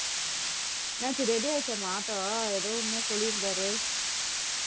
என்னாச்சி ready ஆயிடுச்சாம்மா auto ஏதோ என்னமோ சொல்லியிருந்தாரு